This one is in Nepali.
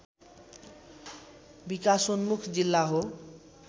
विकासोन्मुख जिल्ला हो